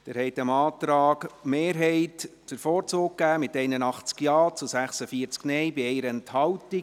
Sie haben dem Antrag der SiK-Mehrheit den Vorzug gegeben, mit 81 Ja- zu 46 Nein-Stimmen bei 1 Enthaltung.